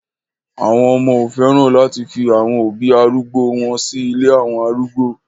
Àwọn ọmọ ò fẹ́ràn láti fi àwọn òbí arúgbó o wọn sí ilé àwọn arúgbó